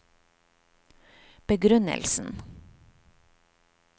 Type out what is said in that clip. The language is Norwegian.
begrunnelsen